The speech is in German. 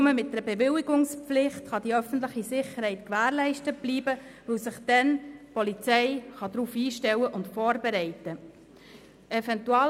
Nur mit einer Bewilligungspflicht kann die öffentliche Sicherheit gewährleistet bleiben, weil sich dann die Polizei darauf einstellen und vorbereiten kann.